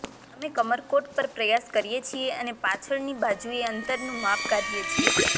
અમે કમરકોટ પર પ્રયાસ કરીએ છીએ અને પાછળની બાજુએ અંતરનું માપ કાઢીએ છીએ